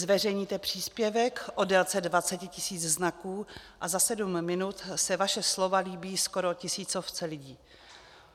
Zveřejníte příspěvek o délce 20 tisíc znaků a za sedm minut se vaše slova líbí skoro tisícovce lidí.